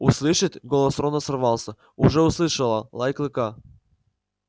услышит голос рона сорвался уже услышало лай клыка